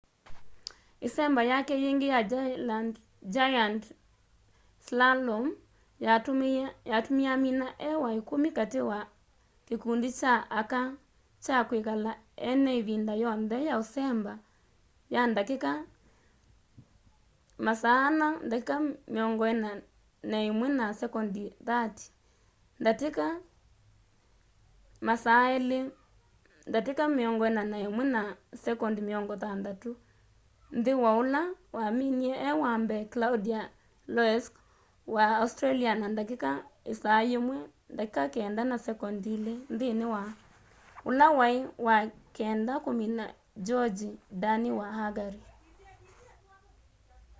ĩsemba yake yĩngĩ ya giant slalom yatumie amina e wa ikumi kati ka kikundi kya aka kya kwikala ena ivinda yonthe ya usemba ya ndatika 4:41.30 ndatika 2:41.60 nthi wa ũla waminie e wa mbee claudia loesch wa australia na ndatika 1:09.02 nthĩ wa ũla waĩ wa kenda kũmina gyongyi dani wa hungary